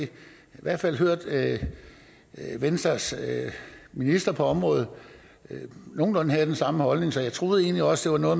hvert fald hørt venstres minister på området have nogenlunde den samme holdning så jeg troede egentlig også at